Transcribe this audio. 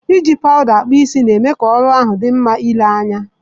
Iji powuda akpu isii, na eme ka oru ahu di nma ile anya.